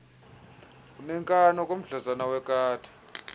uneenkani okomdlezana wekati